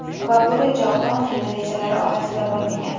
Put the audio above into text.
Va bu reja ota onangni rejalari orasida bo‘lmagan.